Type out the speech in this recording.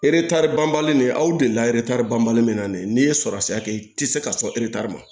banbali nin aw delila banbali min na de n'i ye sɔrɔ se a kɛ i tɛ se ka sɔn eretari ma